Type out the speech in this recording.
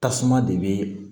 Tasuma de bɛ